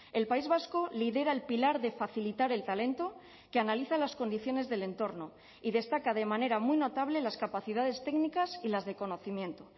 el país vasco lidera el pilar de facilitar el talento que analiza las condiciones del entorno y destaca de manera muy notable las capacidades técnicas y las de conocimiento